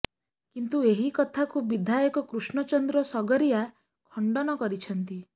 କିନ୍ତୁୂ ଏହି କଥାକୁ ବିଧାୟକ କୃଷ୍ଣ ଚନ୍ଦ୍ର ସଗରିଆ ଖଣ୍ତନ କରିଛନ୍ତି